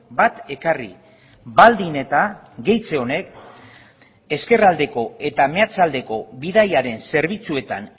bat ekarri baldin eta gehitze honek ezkerraldeko eta meatzaldeko bidaiaren zerbitzuetan